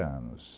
anos.